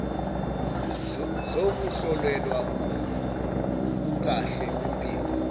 zokuhlolelwa ubukahle bempilo